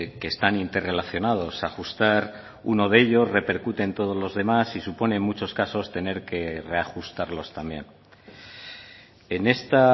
que están interrelacionados ajustar uno de ello repercute en todos los demás y supone en muchos casos tener que reajustarlos también en esta